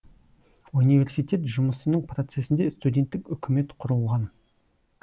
университет жұмысының процесінде студенттік үкімет құрылған